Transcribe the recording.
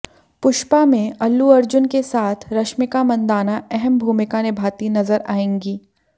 पुष्पा में अल्लू अर्जुन के साथ रश्मिका मंदाना अहम भूमिका निभाती नजर आएंगी